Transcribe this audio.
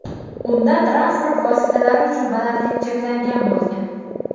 Unda transport vositalari uchun balandlik cheklangan bo‘lgan.